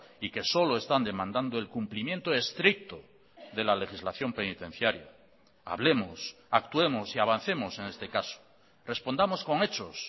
y que solo están demandando el cumplimiento estricto de la legislación penitenciaria hablemos actuemos y avancemos en este caso respondamos con hechos